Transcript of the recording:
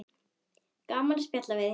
Gaman að spjalla við þig.